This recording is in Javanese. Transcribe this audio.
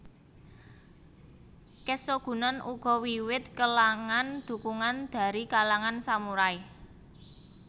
Keshogunan uga wiwit kelangan dukungan dari kalangan samurai